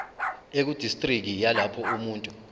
ekudistriki yalapho umuntu